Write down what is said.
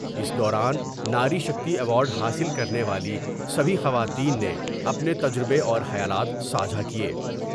اس دوارن ناری شکتی ایوارڈ حاصل کرنے والی سبھی خواتین نے اپنے تجربے اور خیالات ساجھا کئے ۔